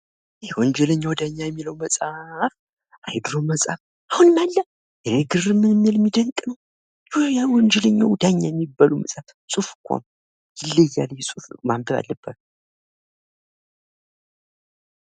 ይህ "ወንጀለኛዉ ዳኛ" የሚለዉ መፅሀፍ አይይ የድሮዉ መፅሀፍ አሁንም አለ? ይሄ ግርም የሚል የሚደንቅ ነዉ። ያ ወንጀለኛዉ ዳኛ የሚባለዉ ፅሁፍኮ ነዉ። ይለያል ይህ ፅሁፍ ማንበብ አለባችሁ።